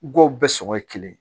Gawo bɛɛ sɔngɔ ye kelen ye